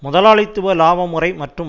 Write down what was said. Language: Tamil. முதலாளித்துவ இலாப முறை மற்றும்